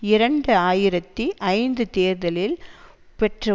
இரண்டு ஆயிரத்தி ஐந்து தேர்தலில் பெற்ற